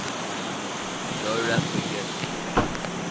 nowrap begin